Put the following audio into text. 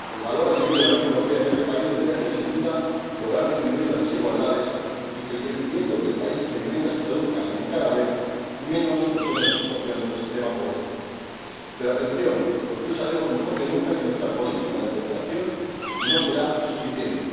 El valor añadido de la Unión Europea en este país debería ser, sin duda, lograr disminuir las desigualdades y que el crecimiento que el país experimenta se tradujera en cada vez menos personas en situación de extrema pobreza. Pero, atención, porque hoy sabemos mejor que nunca que nuestra política de cooperación no será suficiente.